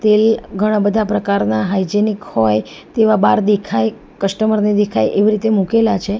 એ ઘણા બધા પ્રકારના હાયજીનિક હોય તેવા બાર દેખાય કસ્ટમર ને દેખાય એવી રીતે મુકેલા છે.